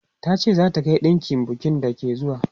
Ta ce za ta kai ɗinkin bukin da ke zuwa.